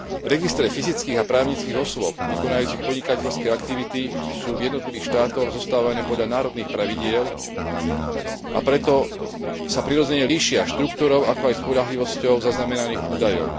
Registre fyzických a právnických osôb vykonávajúcich podnikateľské aktivity sú v jednotlivých štátoch zostavené podľa národných pravidiel, a preto sa prirodzene líšia štruktúrou, ako aj spoľahlivosťou zaznamenaných údajov.